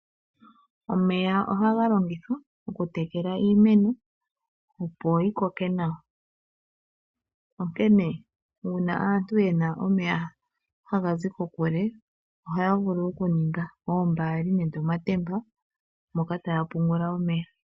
Omeya ohaga longithwa oku tekela iimeno opoyi koke nawa onkene una aantu yena omeya haga zi kokule ohaya vulu oku ninga oombali nenge omatemba moka taya vulu oku pungula omeya.